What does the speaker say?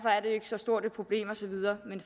så stort et problem og så videre men